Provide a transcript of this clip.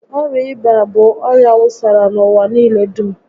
Ọrịa ịba bụ ọrịa wusara n'ụwa niile dum